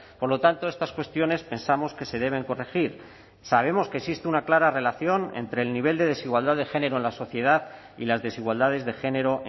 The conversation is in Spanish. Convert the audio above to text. por lo tanto estas cuestiones pensamos que se deben corregir sabemos que existe una clara relación entre el nivel de desigualdad de género en la sociedad y las desigualdades de género